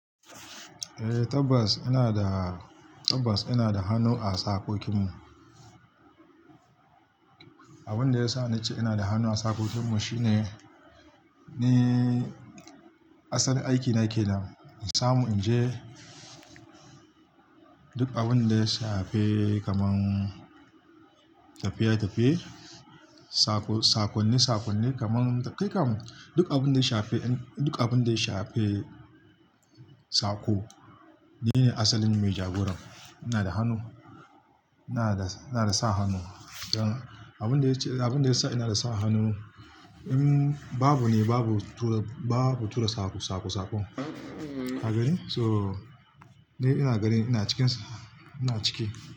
Eh, tabbas ina da, tabbas ina da hannu a sakokinmu. Abin da yasa na ce ina da hannu a sakokinmu shine, ni asalin aikina yake nan. Na samu in je duk abin da ya shafe kaman tafiye-tafiye, sakonni-sakonni kaman da kai kam duk abin da ya shafe, duk abin da ya shafe, sako. Ni ne asalin mai jagoran. Ina da hannu, ina da, ina da sa hannu. Abin da ya ce, abin da ya sa ina da sa hannu, babu ne babu tura, babu tura sako, sako, sako a gari. So dai ina gari ina cikin sa, ina ciki.